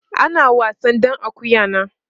ana wasan ɗan akuƴan a